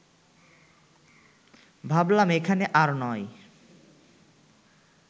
ভাবলাম এখানে আর নয়